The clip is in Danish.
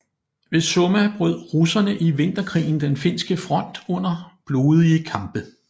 Ved Summa brød russerne i vinterkrigen den finske front under blodige kampe